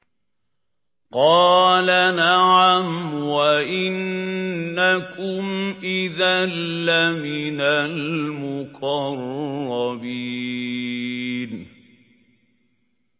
قَالَ نَعَمْ وَإِنَّكُمْ إِذًا لَّمِنَ الْمُقَرَّبِينَ